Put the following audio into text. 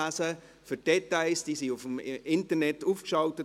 Die Details sind im Internet aufgeschaltet.